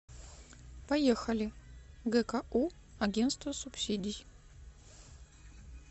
поехали гку агентство субсидий